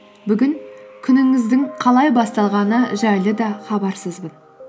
бүгін күніңіздің қалай басталғаны жайлы да хабарсызбын